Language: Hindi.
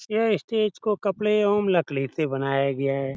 यह स्टेज को कपडे एवं लक्ली से बनाया गया है|